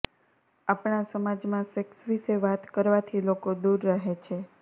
આપણાં સમાજમાં સેક્સ વિષે વાત કરવાથી લોકો દૂર રહે છે